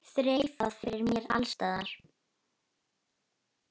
Þreifað fyrir mér alls staðar.